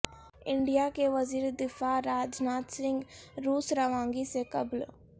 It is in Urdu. انڈیا کے وزیر دفاع راج ناتھ سنگھ روس روانگی سے قبل